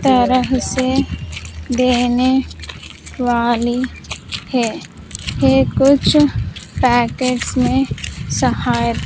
तारा देने वाली है ये कुछ पैकेट्स में सहा--